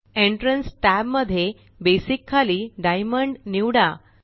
entrance tab मध्ये basic खाली diamond निवडा